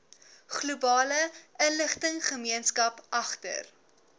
globale inligtinggemeenskap agter